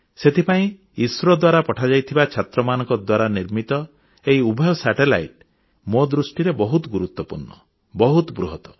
ସେଥିପାଇଁ ଇସ୍ରୋ ଦ୍ୱାରା ପଠାଯାଇଥିବା ଛାତ୍ରମାନଙ୍କ ଦ୍ୱାରା ନିର୍ମିତ ଏହି ଉଭୟ ଉପଗ୍ରହ ମୋ ଦୃଷ୍ଟିରେ ବହୁତ ଗୁରୁତ୍ୱପୂର୍ଣ୍ଣ ବହୁତ ବୃହତ